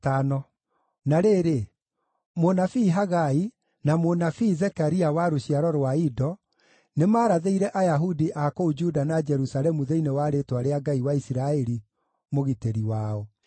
Na rĩrĩ, mũnabii Hagai, na mũnabii Zekaria wa rũciaro rwa Ido, nĩmarathĩire Ayahudi a kũu Juda na Jerusalemu thĩinĩ wa rĩĩtwa rĩa Ngai wa Isiraeli, mũgitĩri wao.